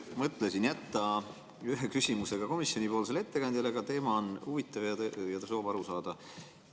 Mõtlesin jätta ühe küsimuse ka komisjoni ettekandjale, aga teema on huvitav ja on soov aru saada.